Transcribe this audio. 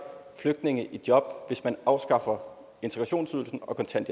flygtninge i job hvis man afskaffer integrationsydelsen